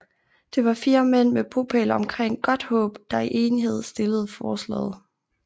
Det var 4 mænd med bopæl omkring Godthåb der i enighed stillede forslaget